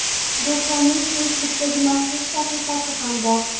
Do‘konning Facebook’da maxsus sahifasi ham bor.